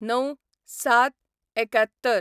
०९/०७/७१